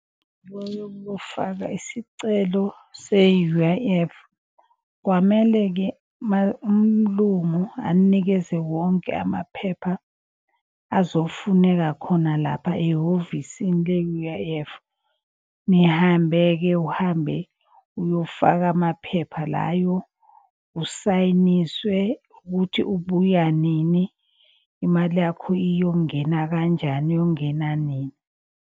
Yokufaka isicelo se-U_I_F kwamele-ke umlungu anikeze wonke amaphepha azofuneka khona lapha ehhovisini le-U_I_F. Nihambe-ke, uhambe uyofaka amaphepha layo, usayiniswe ukuthi ubuya nini. Imali yakho iyongena kanjani, iyongena nini.